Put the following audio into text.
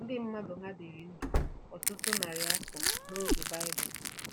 Ndị mmadụ hà dịrị ndụ ọtụtụ narị afọ n'oge Baịbụl?